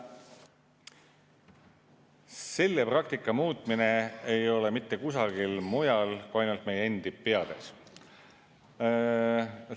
Selle praktika muutmine ei ole mitte kusagil mujal kui ainult meie endi peades.